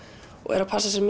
og eru að passa sig